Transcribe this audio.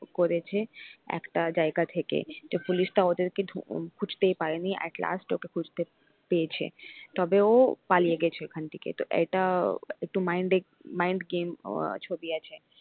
করেছে একটা জায়গা থেকে তো পুলিশ টা ওদেরকে ধো খুঁজতেই পারিনি at last ওকে খুঁজতে পেয়েছে তবে ও পালিয়ে গেছে ওখান থেকে তো এটা একটু mind mind game ছবি আছে।